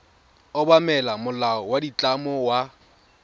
obamela molao wa ditlamo wa